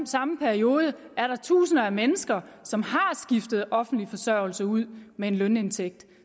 samme periode er der tusinder af mennesker som har skiftet offentlig forsørgelse ud med en lønindtægt